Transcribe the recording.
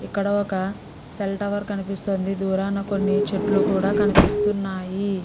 ఇక్కడ ఒక cell tower కనిపిస్తుంది దూరాన కొన్ని చెట్లు కూడా కనిపిస్తున్నాయి.